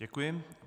Děkuji.